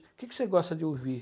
O que você gosta de ouvir?